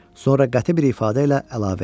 Sonra qəti bir ifadə ilə əlavə etdi: